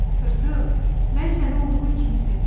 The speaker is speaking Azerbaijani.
Tırtıl, mən səni olduğun kimi sevirəm.